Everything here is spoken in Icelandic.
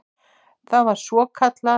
Það var svokallað